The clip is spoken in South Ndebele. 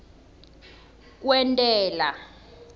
kwentela